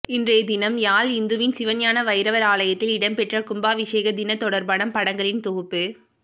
இன்றை தினம் யாழ் இந்துவின் சிவஞான வைரவர் ஆலயத்தில் இடம்பெற்ற கும்பாபிஷேக தினம் தொர்பான படங்களின் தொகுப்பு